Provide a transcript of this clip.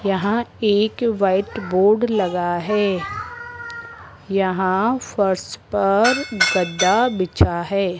यहां एक white board लगा है यहां फर्श पर गद्दा बिछा है।